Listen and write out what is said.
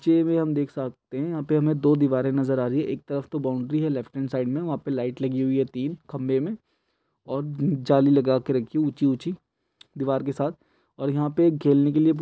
चे भी हम देख सकते हैं यहाँ पे हमें दो दिवारे नजर आ रही हैं एक तरफ तोह बाउंड्री है लेफ्ट हैण्ड साइड में वहाँ पे लाइट लगी हुई है तीन खंभे में और न् जाली लगा के रखी है ऊंची-ऊंची दिवार के साथ और यहाँ पे खेलने के लिए --